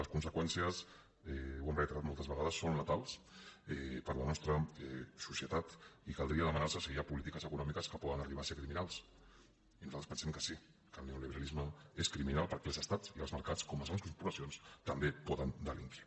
les conseqüències ho hem reiterat moltes vegades són letals per a la nostra societat i caldria demanar se si hi ha polítiques econòmiques que poden arribar a ser criminals i nosaltres pensem que sí que el neoliberalisme és criminal perquè els estats i els mercats com les grans corporacions també poden delinquir